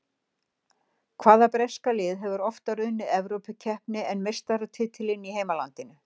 Hvaða breska lið hefur oftar unnið Evrópukeppni en meistaratitilinn í heimalandinu?